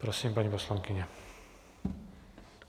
Prosím, paní poslankyně.